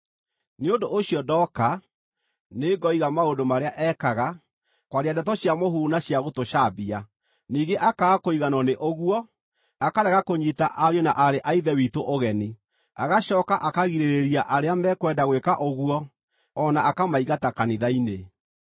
Nĩ ũndũ ũcio ndooka, nĩngoiga maũndũ marĩa ekaga, kwaria ndeto cia mũhuhu na cia gũtũcambia. Ningĩ akaaga kũiganwo nĩ ũguo, akarega kũnyiita ariũ na aarĩ a Ithe witũ ũgeni. Agacooka akagirĩrĩria arĩa mekwenda gwĩka ũguo o na akamaingata kanitha-inĩ.